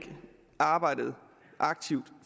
arbejdet aktivt